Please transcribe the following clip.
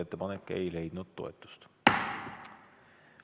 Ettepanek ei leidnud toetust.